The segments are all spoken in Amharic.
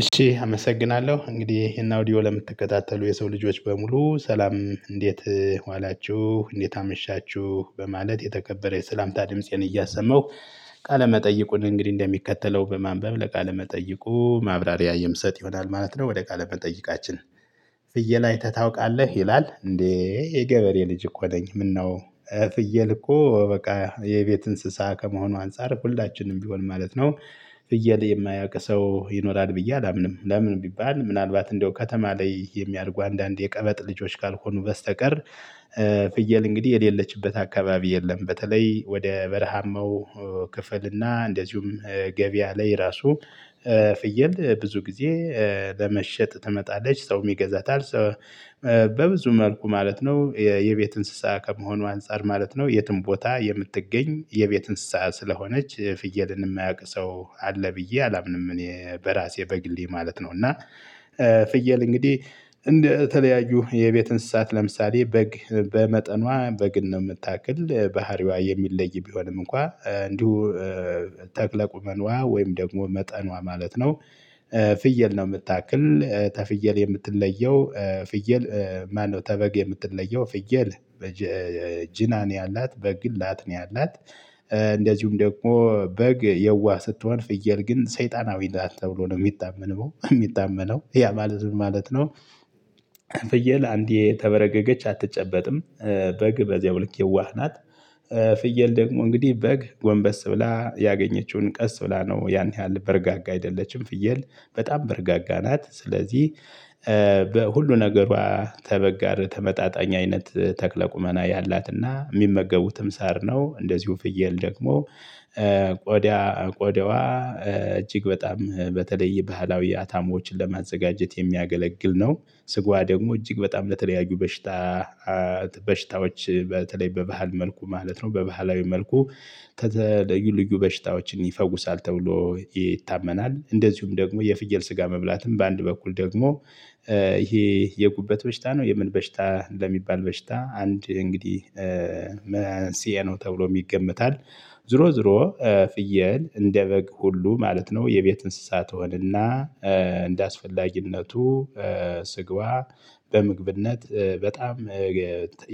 እሺ አመሰግናለሁ እንግዲህ ይሄን አውዲዮ ለምትከታተሉ የሰው ልጆች በሙሉ ሰላም እንዴት ዋላችሁ እንዴት አመሻችሁ በማለት የተከበረ የሰላምታ ድምፄን እያሰመሁ ቃለመጠይቁን እንግዲህ እንደሚከተለው በማንበብ ለቃለመጠይቁ ማብራሪያ የምሰጥ ይሆናል ማለት ነው። ወደ ቃለመጠይቃችን ፍየል አይተህ ታውቃለህ ይላል እንዴ? የገበሬ ልጅ እኮ ነኝ። ምነው ፍየል እኮ በቃ የቤት እንስሳ ከመሆኑ አንፃር ሁልናችንም ቢሆን ማለት ነው። ፍየል የማያውቅ ሰው ይኖራል ብዬ አላምንም። ለምን ቢባል ምናልባት እንደው ከተማ ላይ የሚያደርጉ አንዳንድ የቀበጥ ልጆች ካልሆኑ በስተቀር። ፍየል እንግዲህ የሌለችበት አካባቢ የለም። በተለይ ወደ በረሃማው ክፍል እና እንደዚሁም ገቢያ ላይ ራሱ። ፍየል ብዙ ጊዜ ለመሸጥ ትመጣለች ሰው የሚገዛትል ሰው መልኩ ማለት ነው። የቤት እንስሳ ከመሆኑ አንፃር ማለት ነው የትም ቦታ የምትገኝ የቤት እንስሳ ስለሆነች ፍየልን የማያውቅ ሰው አለ ብዬ አላምንም። እኔ በራሴ በግሌ ማለት ነው። እና ፍየል እንግዲህ እንደ ተለያዩ የቤት እንስሳት ለምሳሌ በግ በመጠኗ በግን ነው የምታክል ባህሪዋ የሚለይ ቢሆንም እንኳን እንዲሁ ተክለ ቁመነዋ ወይም ደግሞ መጠኗ ማለት ነው። ፍየል ነው የምታክል ተፍየል የምትለየው ፍየል ማነው? ተበግ የምትለየው ፍየል። ጅናን ያላት በግ ግን ላት ነው ያላት። እንደዚሁም ደግሞ በግ የዋህ ስትሆን ፍየል ግን ሰይጣናዊ ናት ተብሎ ነው የሚታመነው የሚታመነው ያ ማለት ምን ማለት ነው? ፍየል አንዴ ተበረገገች አትጨበጥም። በግ በዚያው ልክ የዋህ ናት። ፍየል ደግሞ እንግዲህ በግንበስ ብላ ያገኘችውን ቀስ ብላ ነው ያን ያህል በረጋጋ አይደለችም። ፍየል በጣም በረጋጋ ናት ስለዚህ። በሁሉ ነገሯ ተበግ ጋር ተመጣጣኝ አይነት ተክለ ቁመና ያላትና የሚመገቡትም ሳር ነው። እንደዚሁ ፍየል ደግሞ ቆዳ ቆዳዋ እጅግ በጣም በተለይ ባህላዊ አታሞችን ለማዘጋጀት የሚያገለግል ነው። ስጓ ደግሞ እጅግ በጣም ለተለያዩ በሽታ በሽታዎች በተለይ በባህል መልኩ ማለት ነው በባህላዊ መልኩ ከተለዩ ልዩ በሽታዎችን ይፈውሳል ተብሎ ይታመናል። እንደዚሁም ደግሞ የፍየል ስጋ መብላትም በአንድ በኩል ደግሞ ይሄ የጉበት በሽታ ነው የምን በሽታ ለሚባል በሽታ አንድ እንግዲህ መንስኤ ነው ተብሎ ይገመታል። ዞሮ ዞሮ ፍየል እንደ በግ ሁሉ ማለት ነው። የቤት እንስሳት ትሆንና እንደ እንዳስፈላጊነቱ ስግዋ በምግብነት በጣም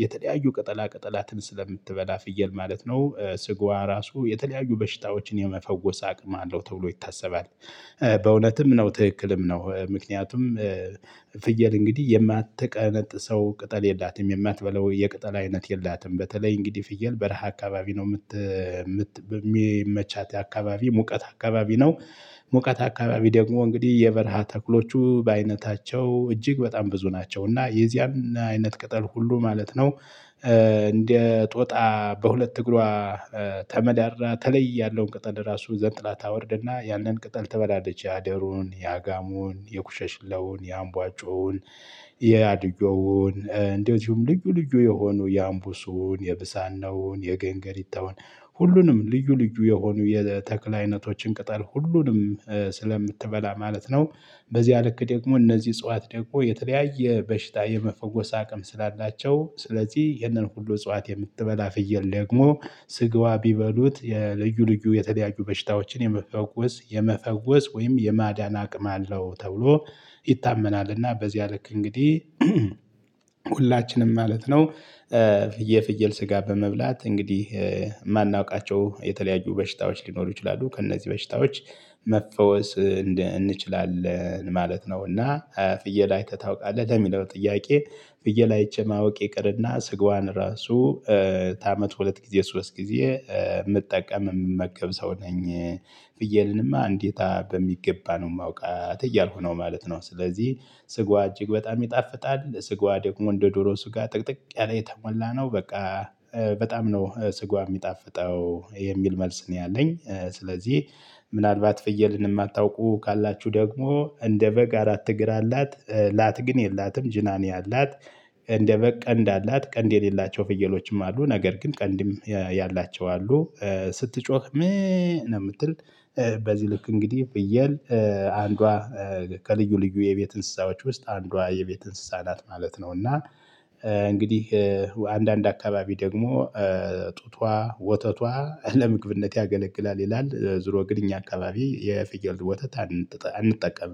የተለያዩ ቅጠላ ቅጠላትን ስለምትበላ ፍየል ማለት ነው ስጋዋ ራሱ የተለያዩ በሽታዎችን የመፈወስ አቅም አለው ተብሎ ይታሰባል። በእውነትም ነው ትክክልም ነው። ምክንያቱም ፍየል እንግዲህ የማትቀነጥሰው ቅጠል የላትም የማትበላው የቅጠል አይነት የላትም። በተለይ እንግዲህ ፍየል በረሃ አካባቢ ነው የምት በሚመቻት አካባቢ ሙቀት አካባቢ ነው። ሙቀት አካባቢ ደግሞ እንግዲህ የበረሃ ተክሎቹ በአይነታቸው እጅግ በጣም ብዙ ናቸው እና የዚያን አይነት ቅጠል ሁሉ ማለት ነው። እንደ ጦጣ በሁለት እግሯ ተመዳድራ ተለይ ያለውን ቅጠል ራሱ ዘንጥላ ታወርድና ያንን ቅጠል ትበላለች። ያደሩን ያጋሙን የኩሸሽለውን ያምቧጩን ያድዮውን እንደዚውም ልዩ ልዩ የሆኑ የአምቡሱን የብሳናውን የገንገሪታውን ሁሉንም ልዩ ልዩ የሆኑ የተክል አይነቶችን ቅጠል ሁሉንም ስለምትበላ ማለት ነው። በዚያ ልክ ደግሞ እነዚህ እጽዋት ደግሞ የተለያየ በሽታ የመፈወስ አቅም ስላላቸው ስለዚህ ይህንን ሁሉ እጽዋት የምትበላ ፍየል ደግሞ ስጋዋ ቢበሉት የልዩ ልዩ የተለያዩ በሽታዎችን የመፈወስ የመፈወስ ወይም የማዳን አቅም አለው። ተብሎ ይታመናልና በዚያ ልክ እንግዲህ ሁላችንም ማለት ነው። የፍየል ስጋ በመብላት እንግዲህ የማናውቃቸው የተለያዩ በሽታዎች ሊኖሩ ይችላሉ ከእነዚህ በሽታዎች መፈወስ እንደ እንችላለን ማለት ነው። እና ፍየል አይተህ ታውቃለህ ለሚለው ጥያቄ። ፍየል አይቼ ማወቅ ይቅርና ስጋዋን ራሱ ታመት ሁለት ጊዜ ሶስት ጊዜ የምጠቀም የምመገብ ሰው ነኝ። ፍየልንማ አንዴታ በሚገባ ነው የማውቃት እያልኩ ነው ማለት ነው። ስለዚህ ስጋዋ እጅግ በጣም ይጣፍጣል። ስጋዋ ደግሞ እንደ ዶሮ ስጋ ጥቅጥቅ ያለ የተሞላ ነው። በቃ በጣም ነው ስጋዋ የሚጣፍጠው የሚል መልስ ነው ያለኝ። ስለዚህ ምናልባት ፍየልን የማታውቁ ካላችሁ ደግሞ እንደ በግ አራት እግር አላት። ላት ግን የላትም ጅናኒ አላት። እንደ በግ ቀንድ አላት ቀንድ የሌላቸው ፍየሎችም አሉ ነገር ግን ቀንድም ያላቸው አሉ። ስትጮህ ምእእ ነው የምትል። በዚህ ልክ እንግዲህ ፍየል አንዷ ከልዩ ልዩ የቤት እንስሳዎች ውስጥ አንዷ የቤት እንስሳ ናት ማለት ነው። እና እንግዲህ አንዳንድ አካባቢ ደግሞ ጡቷ ወተቷ ለምግብነት ያገለቅላል ይላል ዙሮ ግን እኛ አካባቢ የፍየል ወተት አንጠቀምም